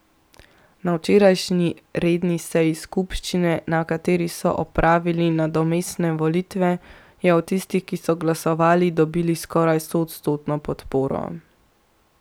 Na včerajšnji redni seji skupščine, na kateri so opravili nadomestne volitve, je od tistih, ki so glasovali, dobil skoraj stoodstotno podporo.